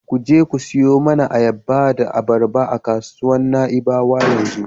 Ku je ku siyo mana ayaba da abarba a kasuwar Na'ibawa yanzu.